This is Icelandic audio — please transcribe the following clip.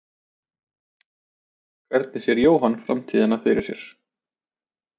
Hvernig sér svo Jóhann framtíðina fyrir sér?